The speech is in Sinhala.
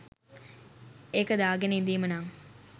ඒක දාගෙන ඉඳීම නං